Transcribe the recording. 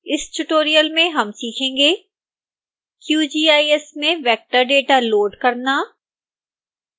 इस tutorial में हम सीखेंगे